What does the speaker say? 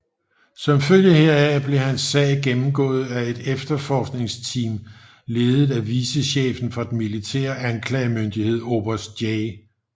Som følge heraf blev hans sag gennemgået af et efterforskningsteam ledet af vicechefen for den militære anklagemyndighed oberst J